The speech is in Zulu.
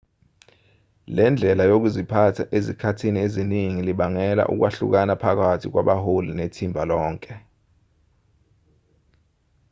le ndlela yokuziphatha ezikhathini eziningi libangela ukwahlukana phakathi kwabaholi nethimba lonke